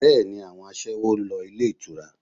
Bẹ́ẹ̀ni, àwọn aṣẹ́wó ń lọ ilé ìtura